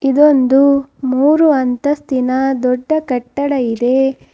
ಇದು ಒಂದು ಮೂರು ಅಂತಸ್ತು ದಿನ ದೊಡ್ಡ ಕಟ್ಟಡ.